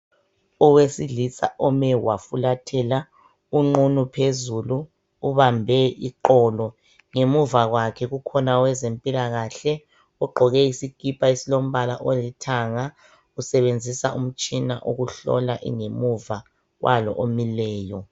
owesilisa ome wafulathela unqunu phezulu ubambe iqolo ngemuva kwakhe kukhona owezempilakahle ogqoke isikipa esilombala olithanga usebenzisa umtshina ukuhlola ingemuva kwalo omileyo